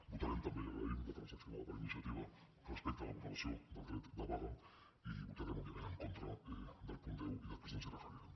votarem també i agraïm la transaccionada per iniciativa respecte a la vulneració del dret de vaga i votarem òbviament en contra del punt deu i després ens hi referirem